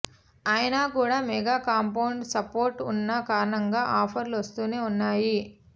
అయినా కూడా mega compound support ఉన్న కారణంగా ఆఫర్లు వస్తూనే ఉన్నాయి